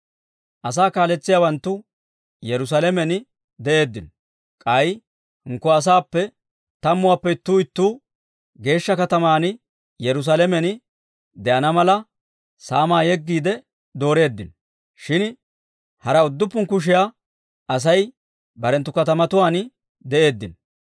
Asaa kaaletsiyaawanttu Yerusaalamen de'eeddino. K'ay hinkko asaappekka tammuwaappe ittuu ittuu geeshsha kataman Yerusaalamen de'ana mala, saamaa yeggiide dooreeddino. Shin hara udduppun kushiyaa Asay barenttu katamatuwaan de'eeddino.